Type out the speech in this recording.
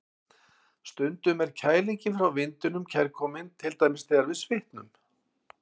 Stundum er kælingin frá vindinum kærkomin, til dæmis þegar við svitnum.